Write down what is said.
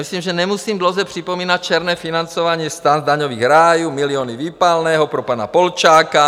Myslím, že nemusím dlouze připomínat černé financování STAN z daňových rájů, miliony výpalného pro pana Polčáka.